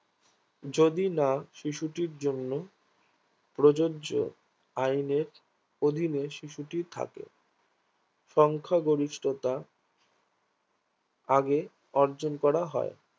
যদি না শিশুটির জন্য প্রযোজ্য আইনের অধীনে শিশুটি থাকে সংখ্যাগরিষ্ঠতা আগে অর্জন করা হয়